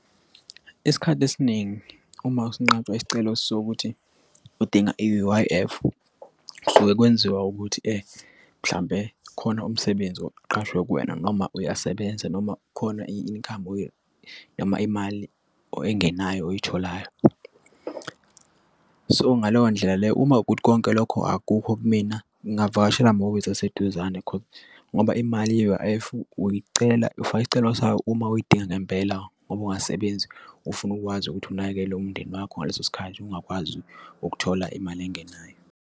Isikhathi esiningi uma sinqatshwe isicelo sokuthi udinga i-U_I_F kusuke kwenziwa ukuthi mhlampe khona umsebenzi oqashwe kuwena, noma uyasebenza noma khona i-income noma imali or engenayo oyitholayo. So, ngaleyo ndlela le uma kuwukuthi konke lokho akukho kumina ngingavakashela amahhovisi aseduzane ngoba imali ye-U_I_F uyicela ufake isicelo sayo uma uyidinga ngempela ngoba ungasebenzi ufuna ukwazi ukuthi unakekele umndeni wakho ngaleso sikhathi ungakwazi ukuthola imali engenayo.